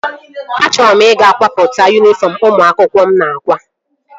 Achọrọ m ị ga-kwatopu yunifọm ụmụ akwụkwọ mụ na-akwa